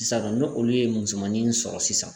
Sisan nɔ n'olu ye musomanin in sɔrɔ sisan